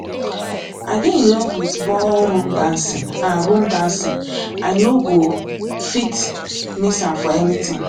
i dey in love with ball room dancing and room dancing and i no go fit miss am for anything